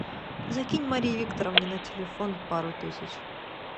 закинь марии викторовне на телефон пару тысяч